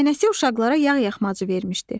Nənəsi uşaqlara yağ-yaxmacı vermişdi.